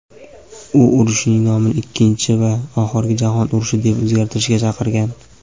u urushning nomini "Ikkinchi va oxirgi jahon urushi" deb o‘zgartirishga chaqirgan.